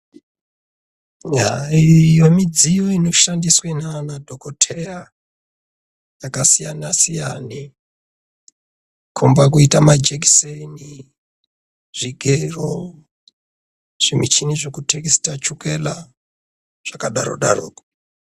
Haa iyo midziyo inoshandiswe naana dhokoteya yakasiyana-siyana. Kukomba kuita majekiseni, zvigero, zvimichini zvekutesita chukela zvakadaro-daroko.